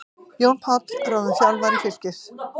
Jón Páll ráðinn þjálfari Fylkis